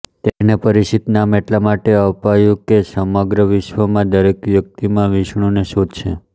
તેને પરિક્ષિત નામ એટલા માટે અપાયું કે તે સમગ્ર વિશ્વમાં દરેક વ્યક્તિમાં વિષ્ણુને શોધશે